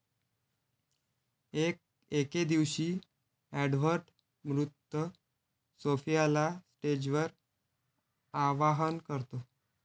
एके दिवशी एडवर्ड मृत सोफियाला स्टेजवर आवाहन करतो